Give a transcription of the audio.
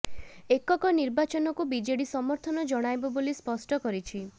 ଏକକ ନିର୍ବାଚନକୁ ବିଜେଡି ସମର୍ଥନ ଜଣାଇବ ବୋଲି ସ୍ପଷ୍ଟ କରିଛି